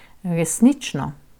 Resnično.